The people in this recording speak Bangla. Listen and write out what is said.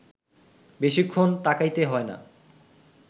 বেশিক্ষণ তাকাইতে হয় না